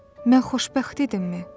Mən xoşbəxt idimmi?